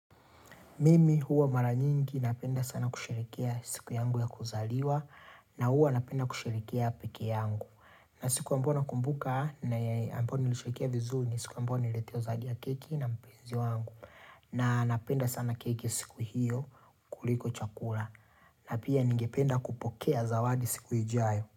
Mimi huwa mara nyingi napenda sana kusherehekea siku yangu ya kuzaliwa na huwa napenda kusherehekea peke yangu. Na siku ambao nakumbuka na yenye ambao niliseherehekea vizuri ni siku ambao nileletewa zawadi ya keki na mpenzi wangu. Na napenda sana keki siku hiyo kuliko chakula na pia ningependa kupokea zawadi siku ijayo.